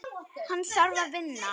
Hann þarf að vinna.